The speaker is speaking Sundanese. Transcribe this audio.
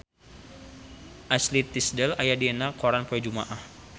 Ashley Tisdale aya dina koran poe Jumaah